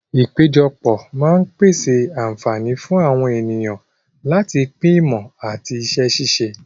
Ìpéjọpọ̀ máa ń pèsè àǹfààní fún àwọn ènìyàn láti pín ìmọ̀ àti iṣẹ́ ṣíṣe.